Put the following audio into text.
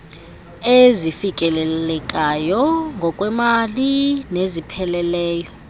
ezifikelelekayo ngokwemali nezipheleleyo